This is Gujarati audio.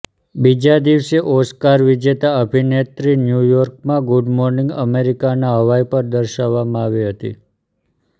બીજા દિવસે ઓસ્કાર વિજેતા અભિનેત્રી ન્યૂ યોર્કમાં ગુડ મોર્નિંગ અમેરિકાના હવાઈ પર દર્શાવવામાં આવી હતી